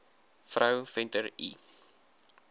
vrou venter l